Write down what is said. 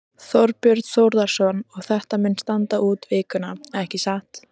Þorbjörn Þórðarson: Og þetta mun standa út vikuna, ekki satt?